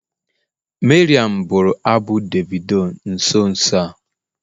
Mariam bụrụ abụ Davido nso nso a.